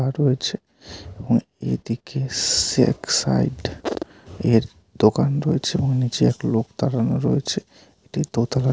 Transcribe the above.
এবং এদিকে sex site এর দোকান রয়েছে এবং নিচে এক লোক দাঁড়ানো রয়েছে এটি দোতালার একটি মল ।